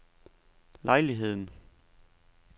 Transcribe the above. lejligheden